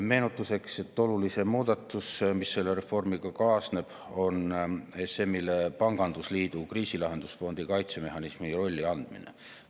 Meenutuseks: olulisim muudatus, mis selle reformiga kaasneb, on ESM‑ile pangandusliidu kriisilahendusfondi kaitsemehhanismi rolli andmine.